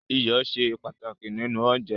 Iyọ̀ ṣe pàtàkì nínú oúnjẹ